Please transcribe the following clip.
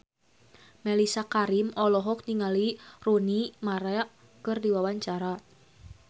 Mellisa Karim olohok ningali Rooney Mara keur diwawancara